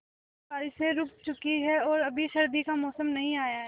अब बारिशें रुक चुकी हैं और अभी सर्दी का मौसम नहीं आया है